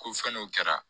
Ko fɛn n'o kɛra